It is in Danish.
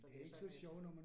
Så det ikke så nemt